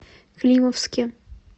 климовске